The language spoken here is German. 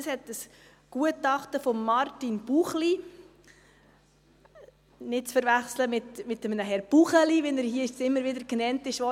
Das hat ein Gutachten von Martin Buchli – nicht zu verwechseln mit einem Herrn Buchli, wie er hier jetzt immer wieder genannt wurde;